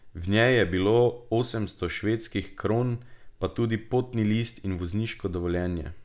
V njej je bilo osemsto švedskih kron, pa tudi potni list in vozniško dovoljenje.